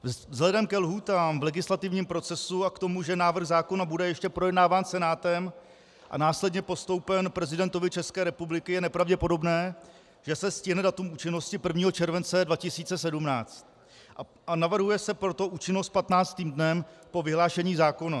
Vzhledem ke lhůtám v legislativním procesu a k tomu, že návrh zákona bude ještě projednáván Senátem a následně postoupen prezidentovi České republiky, je nepravděpodobné, že se stihne datum účinnosti 1. července 2017, a navrhuje se proto účinnost 15. dnem po vyhlášení zákona.